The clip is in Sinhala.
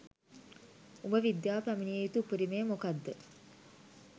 උඹ විද්‍යා‍ව පැමිණිය යුතු උපරිමය මොකද්ද